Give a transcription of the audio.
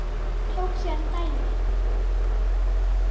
Tók síðan dæmi